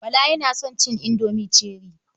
Bala yana son cin indomi cherie.